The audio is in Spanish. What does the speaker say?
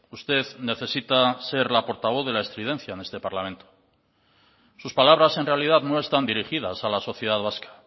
usted necesita ser la portavoz de la estridencia en este parlamento sus palabras en realidad no están dirigidas a la sociedad vasca